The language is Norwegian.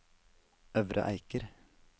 Øvre Eiker